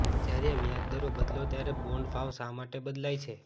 જ્યારે વ્યાજ દરો બદલો ત્યારે બોન્ડ ભાવ શા માટે બદલાય છે